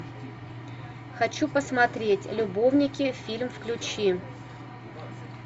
хочу посмотреть любовники фильм включи